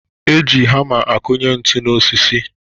E ji hama akụnye ntu n'osisi